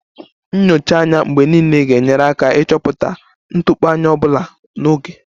Nyocha anya mgbe niile ga-enyere aka ịchọpụta ntụpọ anya ọ bụla n'oge